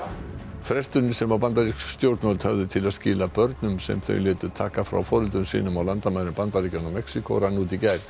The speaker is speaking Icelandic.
fresturinn sem bandarísk stjórnvöld höfðu til að skila börnum sem þau létu taka frá foreldrum sínum á landamærum Bandaríkjanna og Mexíkó rann út í gær